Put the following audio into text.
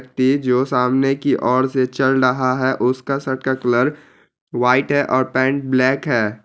ते जो सामने की और से चल रहा है| उसका शर्ट का कलर व्हाइट है और पैंट ब्लैक है।